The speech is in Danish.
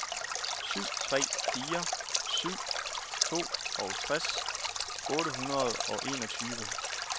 syv tre fire syv toogtres otte hundrede og enogtyve